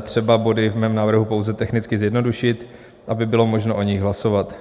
třeba body v mém návrhu pouze technicky zjednodušit, aby bylo možno o nich hlasovat.